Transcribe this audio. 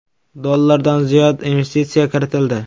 dollardan ziyod investitsiya kiritildi.